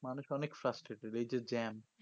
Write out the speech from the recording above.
মানুষ অনেক farstaded এই যে jam